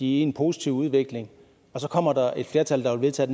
i en positiv udvikling og så kommer der et flertal der vil vedtage